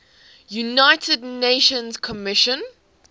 united nations commission